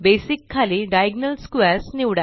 basic खाली diagonal squares